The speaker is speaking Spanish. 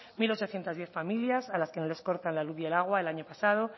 mil ochocientos diez familias a las que no les cortan la luz y el agua el año pasado